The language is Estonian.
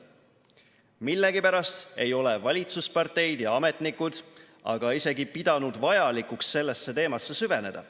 Millegipärast ei ole valitsusparteid ja ametnikud aga isegi pidanud vajalikuks sellesse teemasse süveneda.